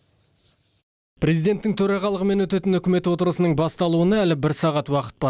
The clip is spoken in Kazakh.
президенттің төрағалығымен өтетін үкімет отырысының басталуына әлі бір сағат уақыт бар